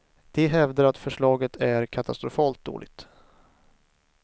De hävdar att förslaget är katastrofalt dåligt.